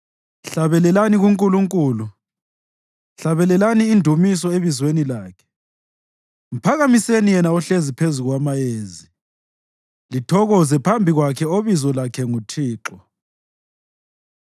Hlabelelani kuNkulunkulu, hlabelelani indumiso ebizweni lakhe, mphakamiseni yena ohlezi phezu kwamayezi lithokoze phambi kwakhe obizo lakhe nguThixo.